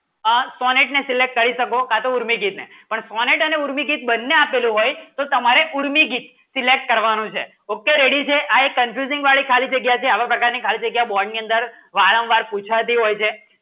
આ કોનેટ ને select કરી શકો કા તો ઊર્મિ ગીત હૈ પણ કોનેટ અને ઊર્મિ ગીત બંને આપેલું હોય તો તમારે ઊર્મિ ગીત select કરવાનું છે okay ready છે આય confusing વળી ખાલી જગ્યા આવે પ્રાકે ખાલી જગ્યા બોન્ડ ની અંદર વારંવાર પૂછા ડી હોય છે